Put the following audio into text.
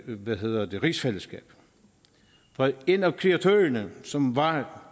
ved ordet rigsfællesskab for en af kreatørerne som var